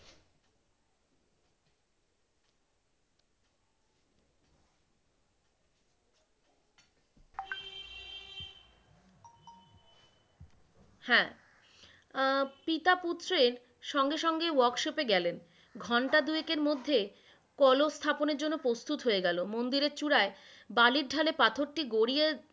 হ্যাঁ, আহ পিতা পুত্রের সঙ্গে সঙ্গে workshop এ গেলেন, ঘণ্টা দু-একের মধ্যেই কলস স্থাপনের জন্য প্রস্তুত হয়ে গেল, মন্দিরের চূড়ায় বালির ঢালে পাথর টি গড়িয়ে